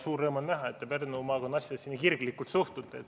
Suur rõõm on näha, et te Pärnu maakonna asjadesse nii kirglikult suhtute.